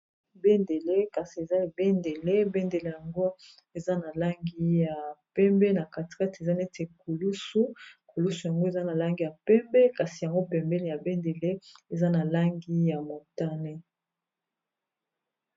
Bendele kasi eza ebendele bendele yango eza na langi ya pembe na catrete eza neti kulusu kulusu yango eza na langi ya pembe kasi yango pembeli ya bendele eza na langi ya montane.